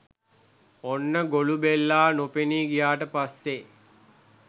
ඔන්න ගොළුබෙල්ලා නොපෙනී ගියාට පස්සේ